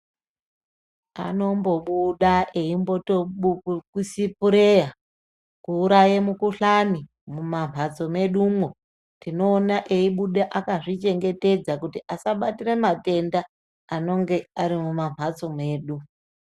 Anombobuda eimbosipureya kuuraye mikuhlani mumamhatso medumwo tinoone eibuda akazvichengetedza kuti asabatire matenda anonge ari mumamhatso medu.